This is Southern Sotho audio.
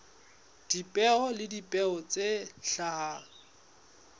dipeo le dipeo tse hlahang